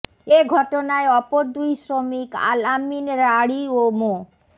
এ ঘটনায় অপর দুই শ্রমিক আল আমিন রাঢ়ী ও মো